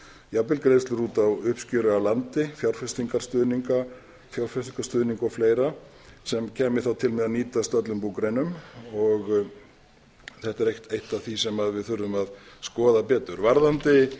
jafnvel greiðslur út á uppskeru af landi fjárfestingarstuðning og fleira sem kæmi þá til með að nýtast öllum búgreinum þetta er eitt af því sem við þurfum að skoða betur varðandi